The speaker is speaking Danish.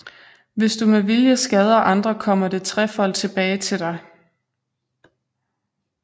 Hvis du med vilje skader andre kommer det trefold tilbage til dig